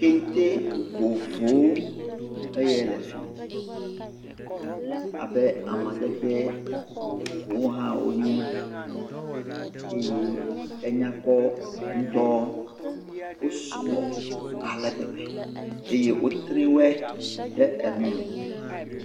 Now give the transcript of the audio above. Kente vovovowo eye le fii abe amadede vovohawo nye eye enyakpɔ ŋutɔ, wosugbɔ ale gbegbe eye wotri we ɖe enume.